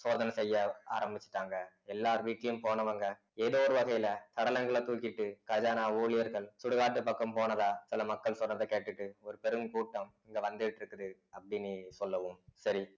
சோதனை செய்ய ஆரம்பிச்சுட்டாங்க எல்லார் வீட்லயும் போனவங்க ஏதோ ஒரு வகையில சடலங்களை தூக்கிட்டு கஜானா ஊழியர்கள் சுடுகாட்டு பக்கம் போனதா சில மக்கள் சொல்றதை கேட்டுட்டு ஒரு பெரும் கூட்டம் இங்க வந்துகிட்டு இருக்குது அப்படின்னு சொல்லவும் சரி